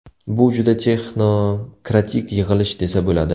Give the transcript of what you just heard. Bu juda texnokratik yig‘ilish desa bo‘ladi.